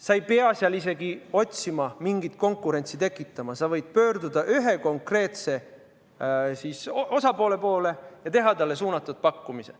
Sa ei pea isegi otsima, mingit konkurentsi tekitama, sa võid pöörduda ühe konkreetse osapoole poole ja teha talle suunatud pakkumise.